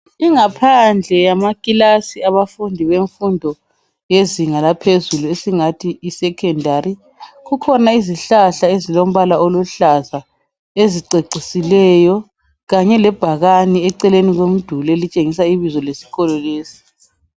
Ingaphandle yamakilasi abafundi bemfundo yezinga laphezulu esingathi yesecondary kukhona izihlahla ezilombala oluhlaza ezicecisileyo kanye lebhakane eceleni komduli elitshengisa ibizo lesikolo lesi.